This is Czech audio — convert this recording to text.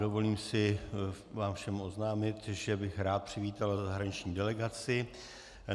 Dovolím si vám všem oznámit, že bych rád přivítal zahraniční delegaci.